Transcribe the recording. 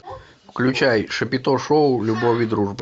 включай шапито шоу любовь и дружба